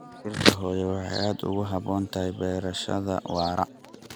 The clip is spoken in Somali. Dhirta hooyo waxay aad ugu habboon tahay beerashada waara.